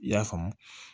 I y'a faamu